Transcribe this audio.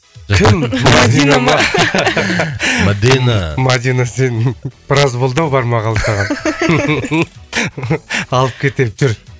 мадина мадина сен біраз болды ау бармағалы саған алып кетемін жүр